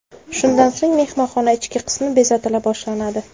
Shundan so‘ng mehmonxona ichki qismi bezatila boshlanadi.